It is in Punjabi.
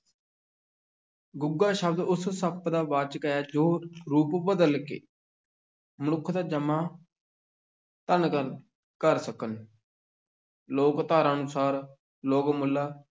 ਗੁੱਗਾ ਸ਼ਬਦ ਉਸ ਸੱਪ ਦਾ ਵਾਚਕ ਹੈ ਜੋ ਰੂਪ ਬਦਲ ਕੇ ਮਨੁੱਖ ਦਾ ਜਾਮਾ ਧਾਰਨ ਕਰ ਕਰ ਸਕਣ ਲੋਕ-ਧਾਰਾ ਅਨੁਸਾਰ, ਲੋਕ ਮੁਲਾ